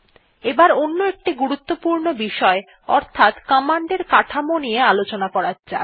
এবার অন্য একটি গুরুত্বপূর্ণ বিষয় অর্থাত কমান্ড এর কাঠামো নিয়ে আলোচনা করা যাক